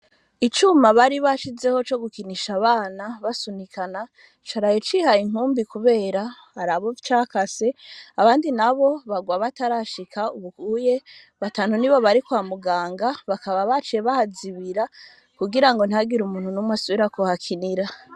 Icuma baribashizeho bari bashizeho co gukinisha abana basunikana, caraye cihaye inkumbi kubera hari abo cakase abandi nabo bagwa batarashika, ubuye batanu nibo bari kwa muganga, bakaba baciye bahazibira kugira ntihagire umuntu n'umwe asubira kuhakinira.